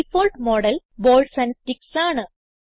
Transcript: default model balls and sticks ആണ്